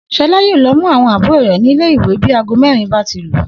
S̩o̩lá yóò lo̩ mú àwo̩n àbúrò rè̩ nílé ìwé bí aago mé̩rin bá ti lù